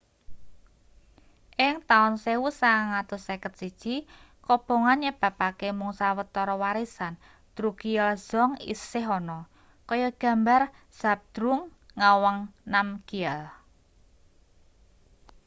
ing taun 1951 kobongan nyebabake mung sawetara warisan drukgyal dzong isih ana kaya gambar zhabdrung ngawang namgyal